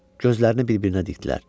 Gözlərini bir-birinə dikdilər.